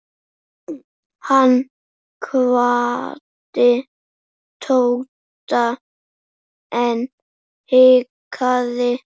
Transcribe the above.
Hann kvaddi Tóta en hikaði.